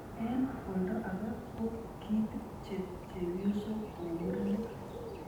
Eng olda age ko kitpche chebyosok kou murenik.